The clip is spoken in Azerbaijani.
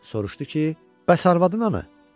Soruşdu ki, bəs arvadın hanı?